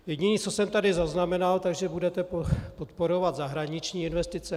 Jediné, co jsem tady zaznamenal, že budete podporovat zahraniční investice.